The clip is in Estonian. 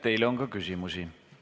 Teile on ka küsimusi.